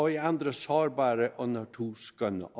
i andre sårbare og naturskønne